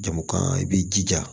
Jamu kan i b'i jija